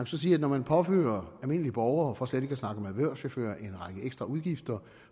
så sige at når man påfører almindelige borgere for slet ikke at snakke om erhvervschauffører en række ekstra udgifter